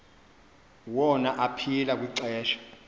wona aphila kwixesha